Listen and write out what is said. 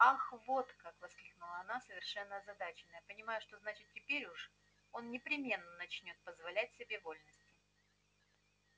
ах вот как воскликнула она совершенно озадаченная понимая что значит теперь уж он непременно начнёт позволять себе вольности